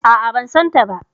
A'a ban san ta